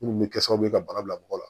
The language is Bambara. Munnu bɛ kɛ sababu ye ka bana bila mɔgɔ la